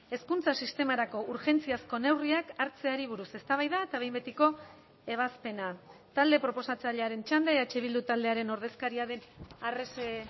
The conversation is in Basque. hezkuntza sistemarako urgentziazko neurriak hartzeari buruz eztabaida eta behin betiko ebazpena talde proposatzailearen txanda eh bildu taldearen ordezkaria den arrese